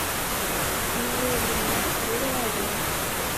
гнилые времена серия один